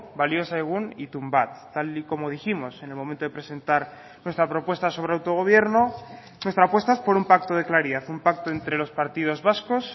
balio zaigun itun bat tal y como dijimos en el momento de presentar nuestra propuesta sobre autogobierno nuestra apuesta es por un pacto de claridad un pacto entre los partidos vascos